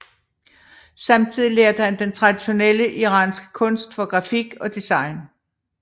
Samtidig lærte han den traditionelle iranske kunst for grafik og design